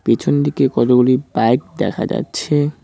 পিছন দিকে কতগুলি বাইক দেখা যাচ্ছে।